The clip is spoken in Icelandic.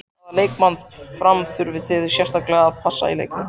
Hvaða leikmann Fram þurfið þið sérstaklega að passa í leiknum?